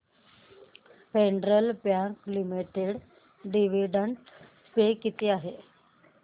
federal Bank Limited dividend pay किती आहे